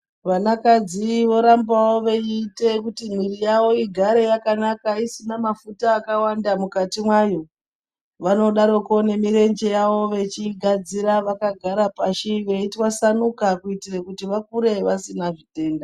Vana kadzi vorambavo veiite kuti mwiri yavo igare yakanaka isina mafuta akawanda mukati mayo. Vanodaroko nemirenje yavo vechiigadzira vakagara pashi veitwasanika kuitire kuti vakure vasina zvitenda.